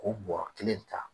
U bɔɔrɔ kelen ta.